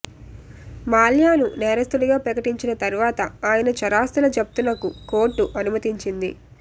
మాల్యాను నేరస్తుడిగా ప్రకటించిన తర్వాత ఆయన చరాస్తుల జప్తునకు కోర్టు అనుమతిచ్చింది